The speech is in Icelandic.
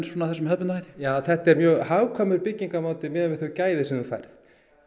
með þessum hefðbundna hætti þetta er mjög hagkvæmur miðað við þau gæði sem þú færð